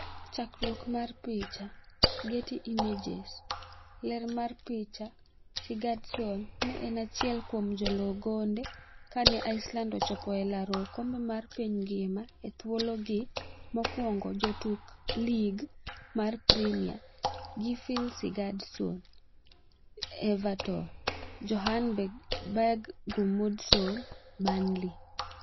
Chakruok mar picha, Getty Images. Ler mar picha, Sigurdsson ne en achiel kuom joloo gonde kane Iceland ochopo e laro okombe mar piny ngima e thuologi mokwongo Jotuk Lig mar Premia ,Gylfi Sigurdsson (Everton), Johann Berg Gudmundsson (Burnley).